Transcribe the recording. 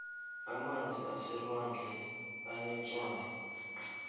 amanzi aselwandle anetswayi